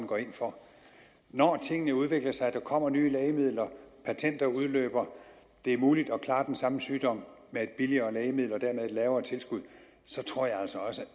går ind for når tingene udvikler sig og der kommer nye lægemidler når patenter udløber og det er muligt at klare den samme sygdom med et billigere lægemiddel og dermed et lavere tilskud tror jeg altså også